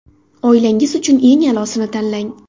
Oilangiz uchun eng a’losini tanlang!.